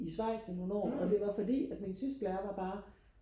Schweiz i nogle år og det var fordi at min tysklærer var bare